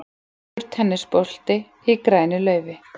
Gulur tennisbolti í grænu laufi.